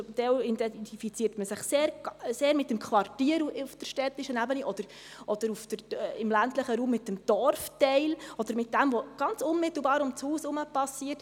Zum Teil identifiziert man sich sehr mit dem Quartier auf der städtischen Ebene und im ländlichen Raum mit dem Dorfteil oder mit dem, was ganz unmittelbar ums Haus herum geschieht.